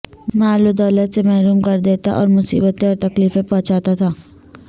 مال و دولت سے محروم کر دیتا اور مصیبتیں اور تکلیفیں پہنچاتا تھا